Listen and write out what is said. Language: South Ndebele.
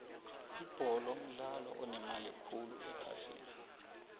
ibholo mdlalo onemali khulu ephasini